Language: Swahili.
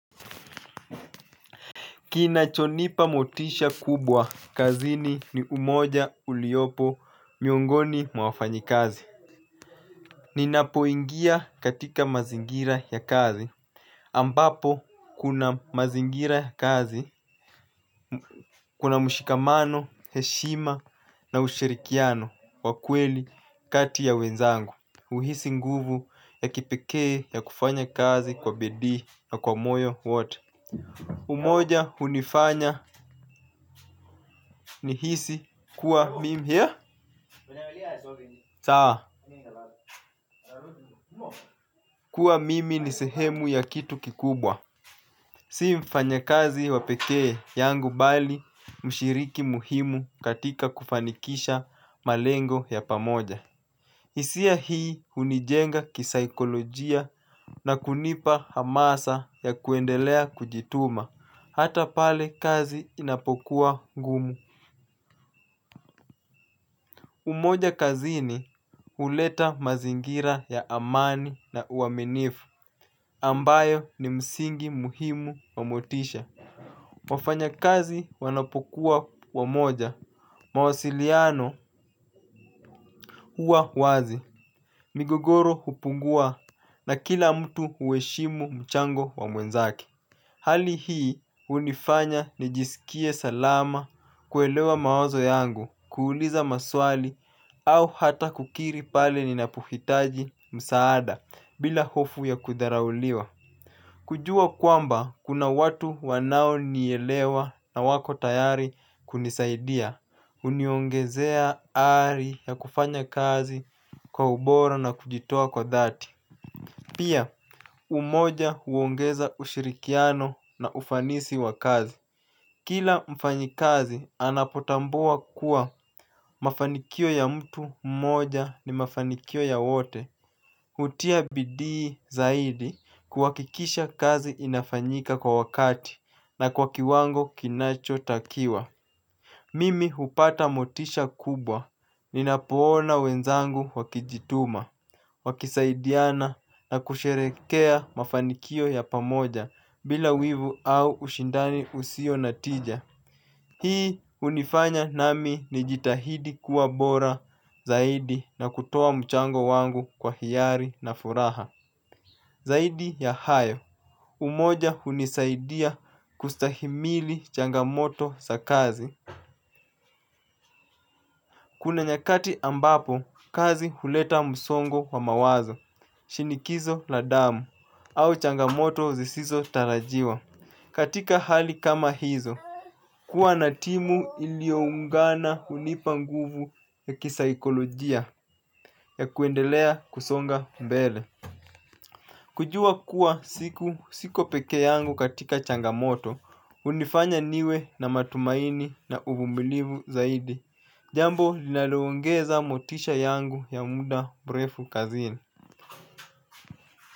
Kinachonipa motisha kubwa kazini ni umoja uliopo miongoni mwa wafanyi kazi. Ninapoingia katika mazingira ya kazi ambapo kuna mazingira ya kazi, kuna mshikamano, heshima na ushirikiano wa kweli kati ya wenzangu. Uhisi nguvu ya kipekee ya kufanya kazi kwa bedi na kwa moyo watu. Umoja hunifanya ni hisi kuwa mimi sawa kuwa mimi ni sehemu ya kitu kikubwa si mfanyakazi wa pekee yangu bali mshiriki muhimu katika kufanikisha malengo ya pamoja. Isia hii hunijenga kisaikolojia na kunipa hamasa ya kuendelea kujituma hata pale kazi inapokuwa ngumu. Umoja kazini huleta mazingira ya amani na uaminifu, ambayo ni msingi muhimu wa motisha. Wafanya kazi wanapokuwa kwa umoja, mawasiliano huwa wazi. Migogoro hupungua na kila mtu hueshimu mchango wa mwenzake. Hali hii unifanya nijisikie salama kuelewa mawazo yangu kuuliza maswali au hata kukiri pale ninapuhitaji msaada bila hofu ya kudharauliwa. Kujua kwamba kuna watu wanaonielewa na wako tayari kunisaidia huniongezea ari ya kufanya kazi kwa ubora na kujitoa kwa dhati. Pia umoja huongeza ushirikiano na ufanisi wa kazi. Kila mfanyi kazi anapotambua kuwa mafanikio ya mtu mmoja ni mafanikio ya wote. Utia bidii zaidi kuakikisha kazi inafanyika kwa wakati na kwa kiwango kinacho takiwa. Mimi hupata motisha kubwa, ninapoona wenzangu wakijituma. Wakisaidiana na kusherehekea mafanikio ya pamoja bila wivu au ushindani usio natija. Hii unifanya nami ni jitahidi kuwa bora zaidi na kutoa mchango wangu kwa hiari na furaha zaidi ya hayo umoja hunisaidia kustahimili changamoto za kazi. Kuna nyakati ambapo kazi huleta msongo wa mawazo shinikizo la damu au changamoto zisizo tarajiwa. Katika hali kama hizo. Kuwa na timu ilioungana hunipa nguvu ya kisaikolojia. Ya kuendelea kusonga mbele. Kujua kuwa siko peke yangu katika changamoto. Hunifanya niwe na matumaini na uvumilivu zaidi. Jambo linaloongeza motisha yangu ya muda brefu kazini.